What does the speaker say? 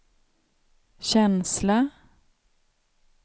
känsla